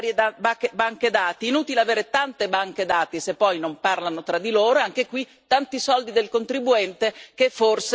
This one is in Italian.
Inutile avere tante banche dati, se poi non parlano tra di loro e anche qui tanti soldi del contribuente che forse non sono messi così a frutto.